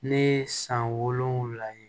Ne ye san wolonwula ye